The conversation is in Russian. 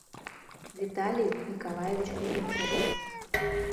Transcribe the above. виталий николаевич кузнецов